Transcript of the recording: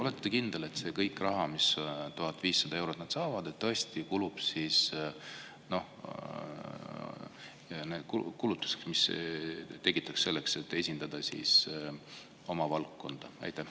Olete te kindel, et kõik see raha, 1500 eurot, mis nad saavad, kulub tõesti selleks, et esindada oma valdkonda?